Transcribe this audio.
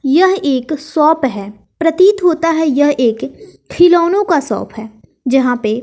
यह एक शॉप है प्रतीत होता है यह एक फिलौनो का शॉप है जहां पे --